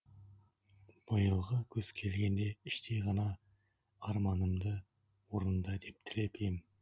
биылғы күз келгенде іштей ғана арманымды орында деп тілеп ем